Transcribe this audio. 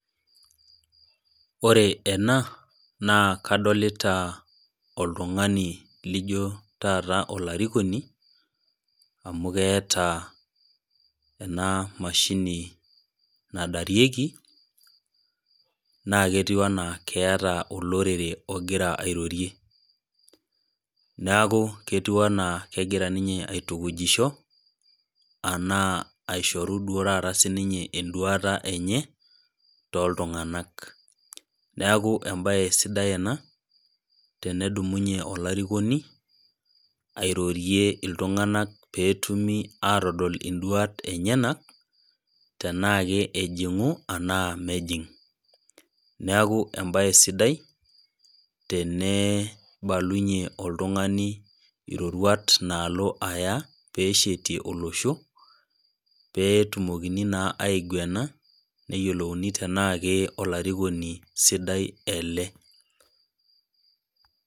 Ore ena, naa kadolita oltung'ani lijo taata olarikoni, amu keata ena mashini nadarieki, naake ketiu anaa keata olorere ogira airorie, neaku ketiu ninye anaa kegira ninnye aitukujisho, anaa aishoru duo taata sii ninye enduata enye, tooltung'anak. Neaku embaye sidai ena, ttenedumunye olarikoni airorie iltung'anak pee etumi atodua induat enyena, tanaake ejing'u anaa mejing'. Neaku embaye sidai teneibalunye oltung'ani iroruat naalo aya pee eshetie olosho, pee etumokini naa aigwena peeeyiolouni tanaa olarikoni sidai ele.